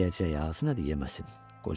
Yeyəcəyi azdır deyə yemesin.